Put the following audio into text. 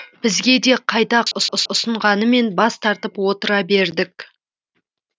бізге де қайта ұсынғанмен бас тартып отыра бердік